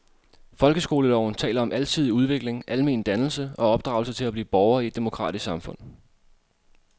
Folkeskoleloven taler om alsidig udvikling, almen dannelse og opdragelse til at blive borger i et demokratisk samfund.